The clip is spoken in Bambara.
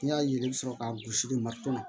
N'i y'a ye i bɛ sɔrɔ ka gosi de maritɔnɔ